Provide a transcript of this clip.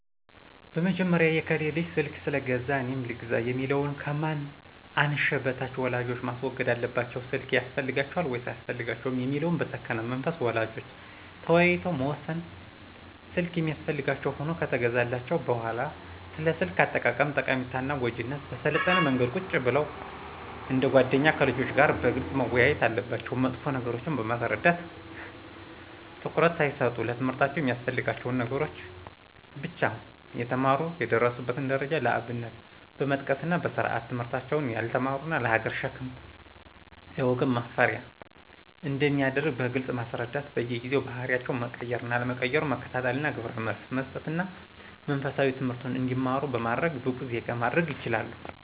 በመጀመሪያ የከሌ ልጅ ስልክ ስለገዛ እኔም ልግዛ የሚለውን ከማን አንሸ በሽታ ወላጆች ማስወገድ አለባቸው ስልክ ያስፈልጋቸዋል ወይስ አያስፈልጋቸውም የሚለውን በሰከነ መንፈስ ወላጆች ተወያይተው መወሰን ስልክ የሚያስፈልጋቸው ሁኖ ከተገዛላቸው በሁዋላ ስለ ስልክ አጠቃቀም ጠቃሚነትና ጎጅነት በሰለጠነ መንገድ ቁጭ ብለው እንደ ጎደኛ ከልጆች ጋር በግልጽ መወያየት አለባቸው መጥፎ ነገሮችን በማስረዳት ትኩረት ሳይሰጡ ለትምህርታቸው የሚያስፈልጋቸውን ነገሮች ብቻ እንዲጠቀሙ ትምለህርታቸውን ጠንክረው የተማሩ የደረሱበትን ደረጃ ለአብነት በመጥቀስና በስርአት ትምህርታቸውን ያልተማሩት ለሀገር ሸክም ለወገን ማፈሪያ አንደሚያደርግ በግልጽ ማስረዳት በየጊዜው ባህሪያቸው መቀየር አለመቀየሩን መከታተልና ግብረመልስ መሰጠትና መንፈሳዊ ትምህርት እንዲማሩ በማድረግ ብቁ ዜጋ ማድረግ ይችላሉ።